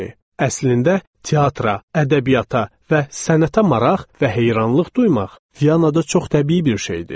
Əslində, teatra, ədəbiyyata və sənətə maraq və heyranlıq duymaq Viyanada çox təbii bir şeydir.